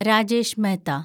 Rajesh Mehta